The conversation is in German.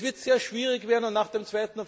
Es wird sehr schwierig werden und nach dem